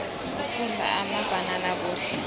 ukudla amabhanana kuhle